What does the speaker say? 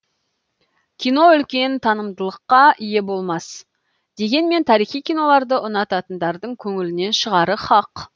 кино үлкен танымалдыққа ие болмас дегенмен тарихи киноларды ұнататындардың көңілінен шығары хақ